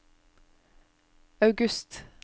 august